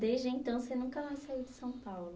Desde então, você nunca saiu de São Paulo.